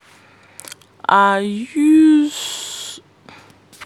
i use